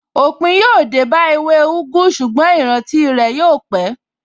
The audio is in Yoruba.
Òpin yóò dé bá ewé úgú, ṣùgbọ́n ìrántí rẹ̀ yóò pé.